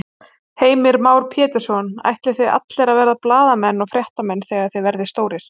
Heimir Már Pétursson: Ætlið þið allir að verða blaðamenn og fréttamenn þegar þið verðið stórir?